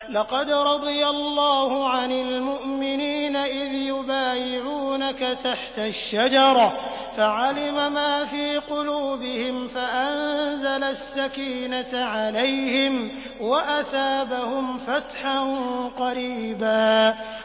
۞ لَّقَدْ رَضِيَ اللَّهُ عَنِ الْمُؤْمِنِينَ إِذْ يُبَايِعُونَكَ تَحْتَ الشَّجَرَةِ فَعَلِمَ مَا فِي قُلُوبِهِمْ فَأَنزَلَ السَّكِينَةَ عَلَيْهِمْ وَأَثَابَهُمْ فَتْحًا قَرِيبًا